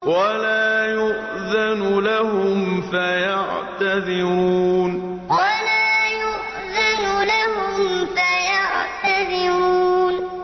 وَلَا يُؤْذَنُ لَهُمْ فَيَعْتَذِرُونَ وَلَا يُؤْذَنُ لَهُمْ فَيَعْتَذِرُونَ